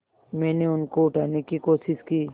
मैंने उनको उठाने की कोशिश की